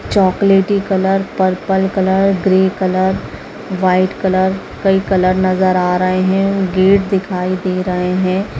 चॉकलेटी colour purple colour grey colour white colour कई colour नजर आ रहे हैं गेट दिखाई दे रहे हैं।